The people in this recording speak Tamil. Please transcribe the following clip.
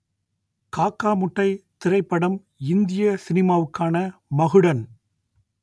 காக்கா முட்டை திரைப்படம் இந்திய சினிமாவுக்கான மகுடன்